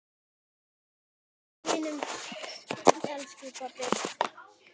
Sjáumst á himnum, elsku pabbi.